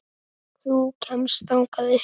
Þú kemst þangað upp.